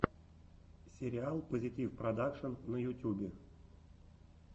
сериал позитивпродакшн на ютубе